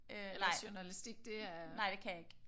Øh nej nej det kan jeg ikke